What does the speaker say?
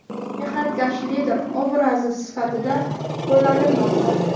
mehnatkash lider obrazi sifatida qo‘llanilmoqda.